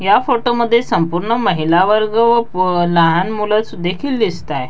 या फोटो मध्ये संपूर्ण महिला वर्ग व लहान मुल देखील दिसताये.